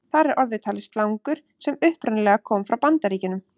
Þar er orðið talið slangur sem upprunalega komi frá Bandaríkjunum.